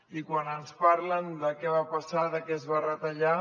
i quan ens parlen de què va passar de què es va retallar